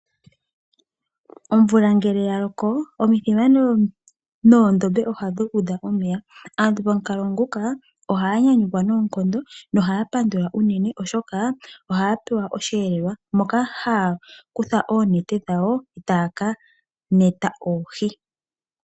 Omvula ngele ya loko, omithima noondombe ohadhi udha omeya. Aantu pa mukalo nguka ohaya nyanyukwa noonkondo no haya pandula unene oshoka ohaya pewa osheelelwa moka haya kutha oonete dhawo taya ka neta oohi.